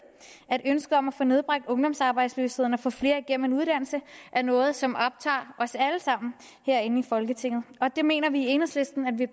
at ønsket om at få nedbragt ungdomsarbejdsløsheden og få flere igennem en uddannelse er noget som optager os alle sammen herinde i folketinget vi mener i enhedslisten at det